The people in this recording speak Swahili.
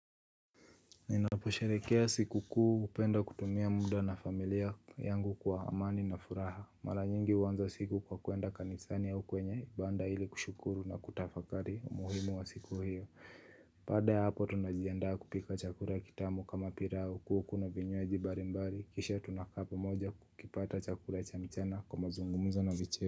Ninaposherekea siku kuu hupenda kutumia muda na familia yangu kwa amani na furaha Maranyingi huanza siku kwa kwenda kanisani au kwenye Banda hili kushukuru na kutafakari umuhimu wa siku hiyo baada ya hapo tunajiandaa kupika chakula kitamu kama pilau kuku na vinywaji mbalimbali Kisha tunakaa pamoja kukipata chakula cha mchana kwa mazungumzo na vicheko.